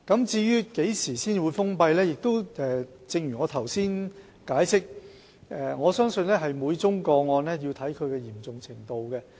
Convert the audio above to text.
至於何時才會封閉有關處所，正如我剛才解釋，我相信每宗個案須視乎其嚴重程度。